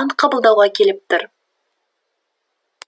ант қабылдауға келіп тұр